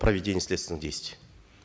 проведения следственных действий